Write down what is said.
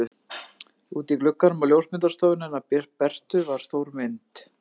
Úti í glugganum á ljósmyndastofunni hennar Bertu var stór mynd.